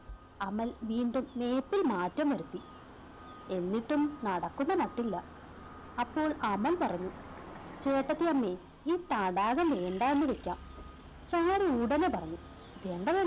അമൽ വീണ്ടും Map ഇൽ മാറ്റം വരുത്തി എന്നിട്ടും നടക്കുന്ന മട്ടില്ല അപ്പോൾ അമൽ പറഞ്ഞു ചേട്ടത്തിയമ്മേ ഈ തടാകം വേണ്ട എന്ന് വെക്കാം ചാരു ഉടനെ പറഞ്ഞു വേണ്ട വേണ്